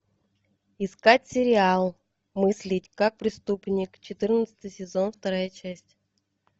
искать сериал мыслить как преступник четырнадцатый сезон вторая часть